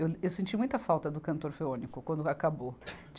Eu, eu senti muita falta do Canto Orfeônico quando acabou.